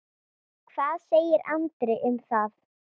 Hvað segir Andri um það?